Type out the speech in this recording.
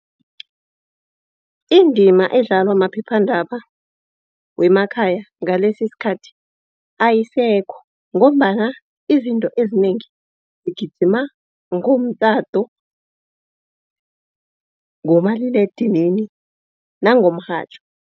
Indima edlalwa maphephandaba wemakhaya ngalesi isikhathi ayisekho ngombana izinto ezinengi zigijima ngomtato, ngomaliledinini nangomrhatjho.